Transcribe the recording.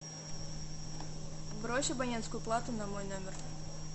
брось абонентскую плату на мой номер